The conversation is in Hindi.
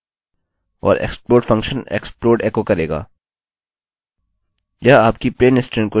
और explode फंक्शन explode एको करेगा